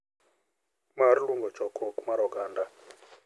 Mar luongo chokruok mar oganda,